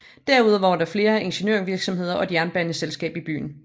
Derudover var der flere ingeniørvirksomheder og et jernbaneselskab i byen